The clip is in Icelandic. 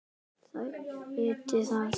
Þær viti það.